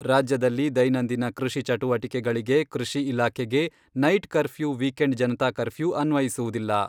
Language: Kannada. ರಾಜ್ಯದಲ್ಲಿ ದೈನಂದಿನ ಕೃಷಿ ಚಟುವಟಿಕೆಗಳಿಗೆ ಕೃಷಿ ಇಲಾಖೆಗೆ night curfew weekend Janata curfew ಅನ್ವಯಿಸುವುದಿಲ್ಲ.